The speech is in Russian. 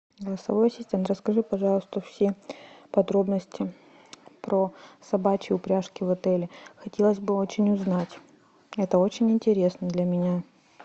голосовой ассистент расскажи пожалуйста все подробности про собачьи упряжки в отеле хотелось бы очень узнать это очень интересно для меня